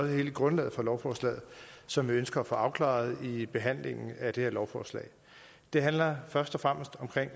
hele grundlaget for lovforslaget som vi ønsker at få afklaret i behandlingen af det her lovforslag det handler først og fremmest om